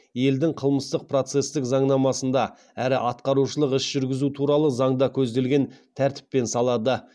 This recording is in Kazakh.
елдің қылмыстық процестік заңнамасында әрі атқарушылық іс жүргізу туралы заңда көзделген тәртіппен салады